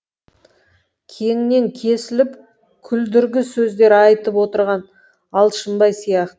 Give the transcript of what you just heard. кеңінен кесіліп күлдіргі сөздер айтып отырған алшынбай сияқ